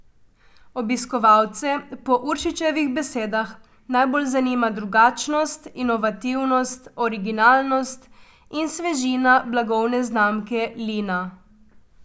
Obiskovalce po Uršičevih besedah najbolj zanima drugačnost, inovativnost, originalnost in svežina blagovne znamke Lina.